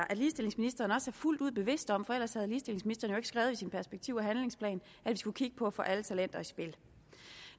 at ligestillingsministeren også er fuldt bevidst om det for ellers havde ministeren jo ikke skrevet i sin perspektiv og handlingsplan at vi skulle kigge på at få alle talenter i spil